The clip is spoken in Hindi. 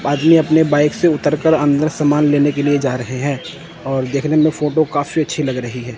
आदमी अपने बाइक से उतरकर अंदर समान लेने के लिए जा रहे हैं और देखने में फोटो काफी अच्छी लग रही है।